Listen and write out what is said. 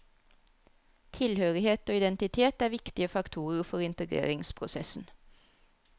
Tilhørighet og identitet er viktige faktorer for integreringsprosessen.